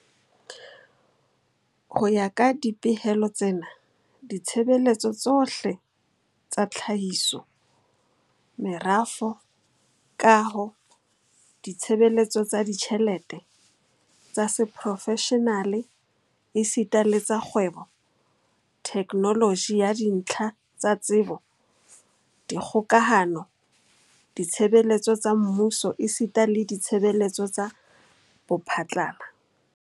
Ho ya ka dipehelo tsena, ditshebeletso tsohle tsa tlhahiso, merafo, kaho, ditshebeletso tsa ditjhelete, tsa seprofeshenale esita le tsa kgwebo, theknoloji ya dintlha tsa tsebo, dikgokahano, ditshebeletso tsa mmuso esita le ditshebeletso tsa bophatlala